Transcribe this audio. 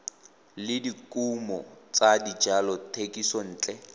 le dikumo tsa dijalo thekisontle